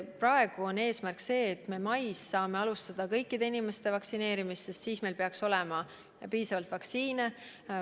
Praegu on eesmärk mais alustada kõikide inimeste vaktsineerimist, sest siis meil peaks olema piisavalt vaktsiine.